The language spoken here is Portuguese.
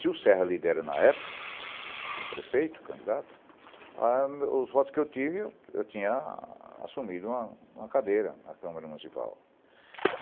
Se o Serra lidera na época, como prefeito, candidato, ah os votos que eu tive, eu tinha assumido uma uma cadeira na Câmara Municipal.